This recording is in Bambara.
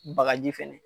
Bagaji fɛnɛ